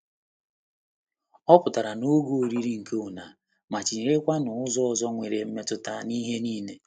Ọ pụtara n'oge oriri nke una, ma-otiyere kwanu ụzọ ọzọ nwere mmetụta na ihe niile.